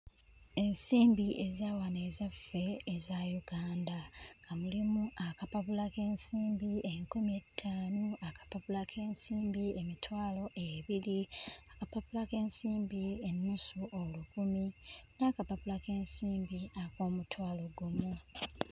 Ensimbi eza wano ezaffe eza Uganda nga mulimu akapapula k'ensimbi enkumi ettaano, akapapula k'ensimbi emitwalo ebiri, akapapula k'ensimbi ennusu olukumi n'akapapula k'ensimbi ak'omutwalo ogumu.